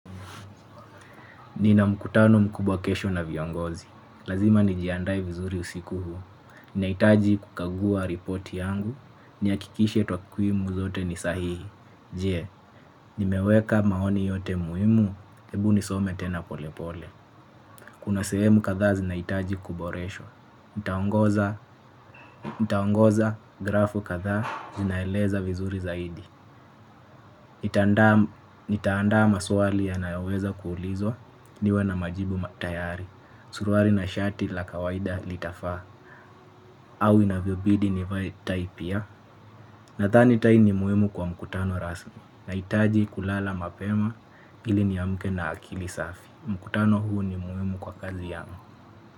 Nina mkutano mkubwa kesho na viongozi. Lazima nijiandae vizuri usiku huu. Ninahitaji kukagua ripoti yangu. Nihakikishe takwimu zote ni sahihi. Je, nimeweka maoni yote muhimu? Hebu nisome tena polepole. Kuna sehemu kadhaa zinahitaji kuboreshwa. Nitaongoza. Nitaongeza grafu kadhaa zinaeleza vizuri zaidi. Nitaandaa maswali yanayoweza kuulizwa niwe na majibu tayari. Suruari na shati la kawaida litafaa au inavyobidi nivae tai pia. Nadhani tai ni muhimu kwa mkutano rasmi. Nahitaji kulala mapema ili niamke na akili safi. Mkutano huu ni muhimu kwa kazi yangu.